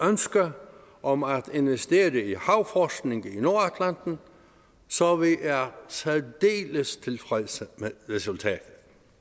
ønske om at investere i havforskning i nordatlanten så vi er særdeles tilfredse med resultatet